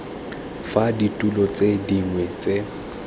fa ditilo tse dingwe tse